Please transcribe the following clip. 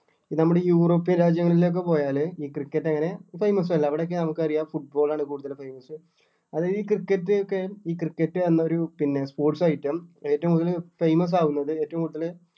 നമ്മള് European രാജ്യങ്ങളിലേക്ക് പോയാല് ഈ cricket അങ്ങനെ famous അല്ല അവിടൊക്കെ നമുക്കറിയാം football ആണ് കൂടുതൽ famous അത് ഈ cricket ഒക്കെയും ഈ cricket എന്നുള്ളൊരു sports item ഏറ്റവും കൂടുതൽ famous ആകുന്നത് ഏറ്റവും കൂടുതല്